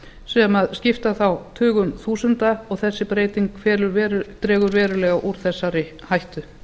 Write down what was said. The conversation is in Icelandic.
sem skipta þá tugum þúsunda og þessi breyting dregur verulega úr þessari hættu